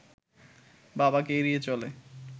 বাবাকে এড়িয়ে চলে